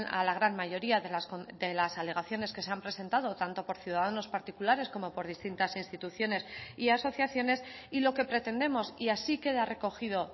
a la gran mayoría de las alegaciones que se han presentado tanto por ciudadanos particulares como por distintas instituciones y asociaciones y lo que pretendemos y así queda recogido